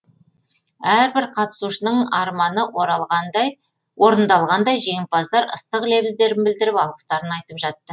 әрбір қатысушының арманы орындалғандай жеңімпаздар ыстық лебіздерін білдіріп алғыстарын айтып жатты